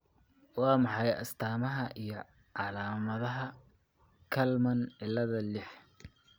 Waa maxay astamaha iyo calaamadaha Kallmann ciilada liix?